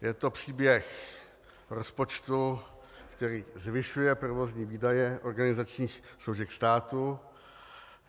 Je to příběh rozpočtu, který zvyšuje provozní výdaje organizačních složek státu.